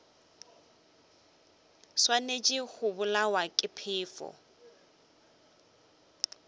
swanetše go bolawa ke phefo